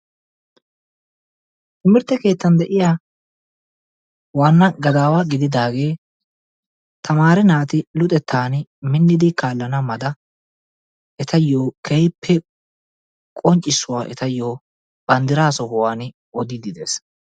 Timirtte keettan de'iya waanna gadaawa gididaagee tamaare naati luxettaani minnidi kaallana mala etayyo keehippe qonccissuwa etayyo banddiraa sohuwan odiiddi dees.